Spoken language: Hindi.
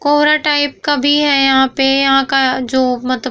कोहरा टाइप का भी है यहाँ पे यहाँ का जो मत --